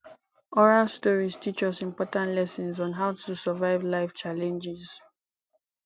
oral stories teach us important lessons on how to survive life challenges